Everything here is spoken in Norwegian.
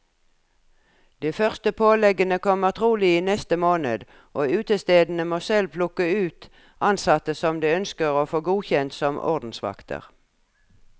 De første påleggene kommer trolig i neste måned, og utestedene må selv plukke ut ansatte de ønsker å få godkjent som ordensvakter.